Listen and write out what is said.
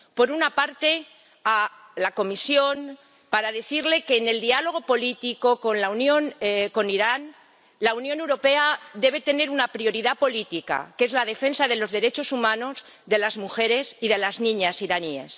Por una parte, a la Comisión, para decirle que, en el diálogo político con Irán, la Unión Europea debe tener una prioridad política, que es la defensa de los derechos humanos, de las mujeres y de las niñas iraníes.